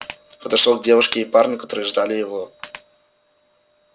подошёл к девушке и парню которые ждали его